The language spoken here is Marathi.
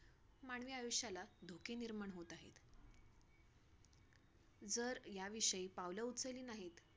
तर हे करता करता आम्ही घरातल्याना कळून नाय दिल की आम्ही हे करतोय.